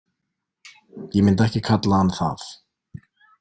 Ég myndi ekki kalla hann það.